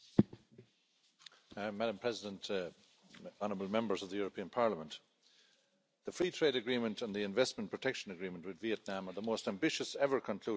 Madam President, honourable Members of the European Parliament, the Free Trade Agreement and the Investment Protection Agreement with Vietnam are the most ambitious ever concluded with a developing country.